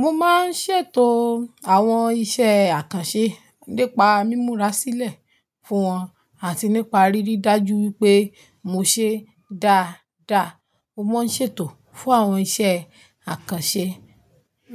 Mo máa ń ṣètò àwọn iṣẹ́ àkànṣe nípa mímura sílẹ̀ fún wọn àti nípa ríri dájú wípé mo ṣe dáa dáa. Mo máa ń ṣètò fún àwọn iṣẹ́ àkànṣe